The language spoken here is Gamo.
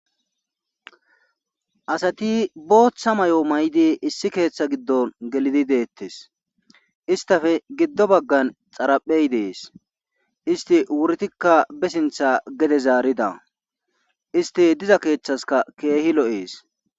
Asati booththa mayo may'di issi keeththa giddon gelidi deettes istafe giddo baggan xaraphey dees isti wurtikka be sintha gede zaarida isti diza keeththaska keehi lo'ees.